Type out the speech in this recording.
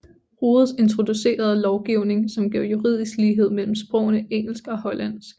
Rhodes introducerede lovgivning som gav juridisk lighed mellem sprogene engelsk og hollandsk